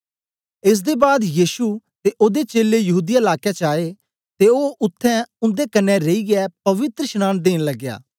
एस दे बाद यीशु ते ओदे चेलें यहूदीया लाके च आए ते ओ उत्थें उन्दे कन्ने रेईयै पवित्रशनांन देन लगया